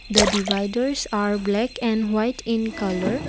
the dividers are black and white in colour.